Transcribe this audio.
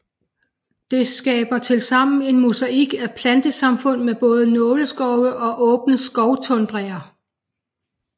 Det skaber tilsammen en mosaik af plantesamfund med både nåleskove og åbne skovtundraer